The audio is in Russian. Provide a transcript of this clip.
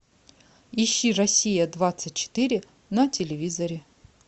ищи россия двадцать четыре на телевизоре